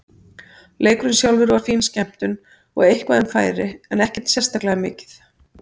Leikurinn sjálfur var fín skemmtun og eitthvað um færi en ekkert sérstaklega mikið.